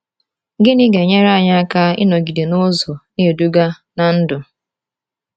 Gịnị ga-enyere anyị aka ịnọgide n’ụzọ na-eduga na ndụ?